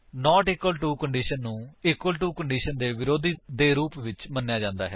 not equal to condition ਨੂੰ equal to condition ਦੇ ਵਰੋਧੀ ਦੇ ਰੂਪ ਵਿੱਚ ਮੰਨਿਆ ਜਾ ਸਕਦਾ ਹੈ